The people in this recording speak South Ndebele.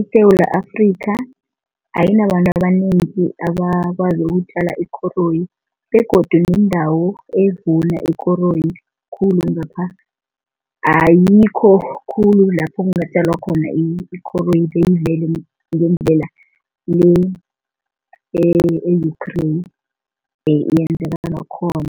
ISewula Afrika ayinabantu abanengi abakwazi ukutjala ikoroyi begodu neendawo evuna ikoroyi khulu ngapha ayikho khulu lapho kungatjalwa khona ikoroyi ngendlela le e-Ukraine yenzeka ngakhona.